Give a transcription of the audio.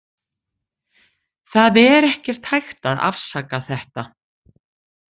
Það er ekkert hægt að afsaka þetta.